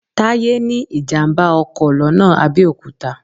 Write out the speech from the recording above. Táyé ní ìjàm̀bá ọkọ̀ lọ́nà Abẹ́òkúta